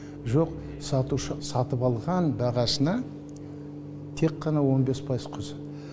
жоқ сатушы сатып алған бағасына тек қана он бес пайыз қосады